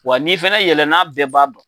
Wa n'i fɛnɛ yɛlɛ n'a bɛɛ ban